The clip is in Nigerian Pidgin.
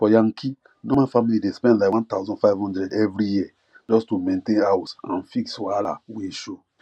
for yankee normal family dey spend like 1500 every year just to maintain house and fix wahala wey show